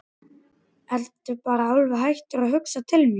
Ertu bara alveg hættur að hugsa til mín?